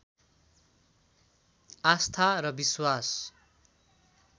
आस्था र विश्वास